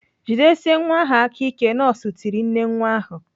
"Jidiesie nwa ahụ aka ike!" Nọọsụ tiri nne nwa ahụ.